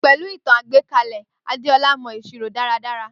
Pẹ̀lú ìtàn àgbékalè Adéọlá mọ ìṣirò dára dára